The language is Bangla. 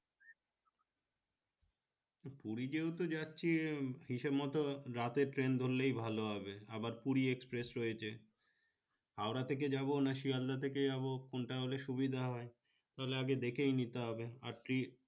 পুরি যেহেতু যাচ্ছি হিসাব মতো রাতের ট্রেন ধরলেই ভালো হবে আবার পুরি express রয়েছে হাওড়া থেকে যাবো না শিয়াল দা থেকে যাবো কোনটা হলে সুবিধা হয়ে তাহলে আগে দেখেই নিতে হবে আর